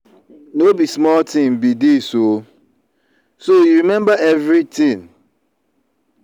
no be small thing be dis ooo so you remember everything.